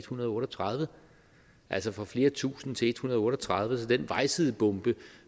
hundrede og otte og tredive altså fra flere tusinde til en hundrede og otte og tredive så den vejsidebombe